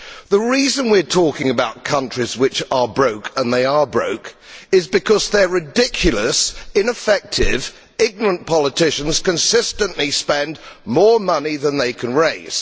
The reason we are talking about countries which are broke and they are broke is because their ridiculous, ineffective, ignorant politicians consistently spend more money than they can raise.